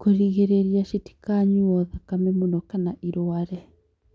kũgirĩrĩria citikanyuo thakame mũno kana irware.